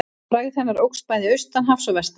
Frægð hennar óx bæði austan hafs og vestan.